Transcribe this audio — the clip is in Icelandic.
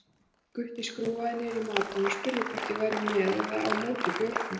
Gutti skrúfaði niður í Madonnu og spurði hvort ég væri með eða á móti bjórnum.